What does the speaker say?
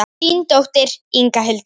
Þín dóttir, Inga Hildur.